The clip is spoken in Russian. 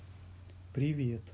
привет